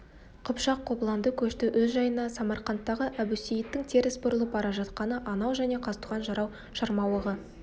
қыпшақ қобыланды көшті өз жайына самарқанттағы әбусейіттің теріс бұрылып бара жатқаны анау және қазтуған жырау шырмауығы